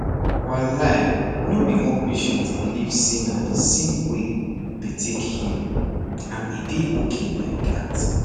walai no be all patient believe say na the same way dey take heal and e dey okay like that